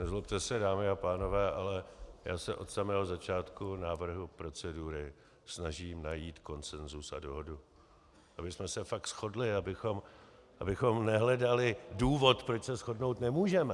Nezlobte se, dámy a pánové, ale já se od samého začátku návrhu procedury snažím najít konsenzus a dohodu, abychom se fakt shodli, abychom nehledali důvod, proč se shodnout nemůžeme.